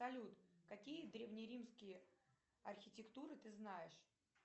салют какие древнеримские архитектуры ты знаешь